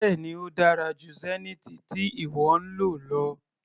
Bẹ́ẹ̀ni ó dára jù Zenith tí ìwọ ń lò lọ.